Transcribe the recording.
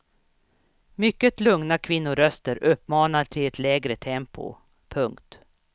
Mycket lugna kvinnoröster uppmanar till ett lägre tempo. punkt